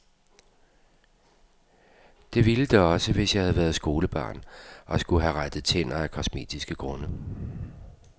Det ville det også, hvis jeg havde været skolebarn, og skulle have rettet tænder af kosmetiske grunde.